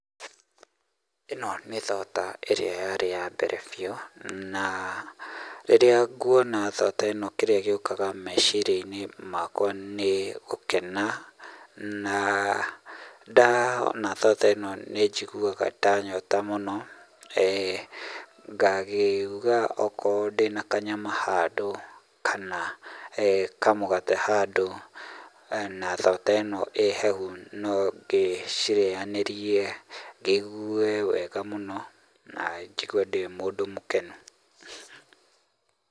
ĩno nĩ thoda ĩrĩa yarĩ ya mbere biũ na, rĩrĩa nguona thoda ĩno kĩrĩa gĩũkaga meciria-inĩ makwa nĩ, gũkena, na, ndaona thoda ĩno nĩ njiguaga ndanyota mũno eeh ngakiuga okorwo ndĩna kanyama handũ kana eeh kamũgate handũ, na thoda ĩno ĩ hehu, no ngĩcirĩyanĩrie, ngĩigue wega mũno na njigue ndĩ mũndũ mũkenu.